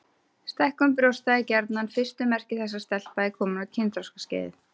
Stækkun brjósta er gjarnan fyrstu merki þess að stelpa er komin á kynþroskaskeið.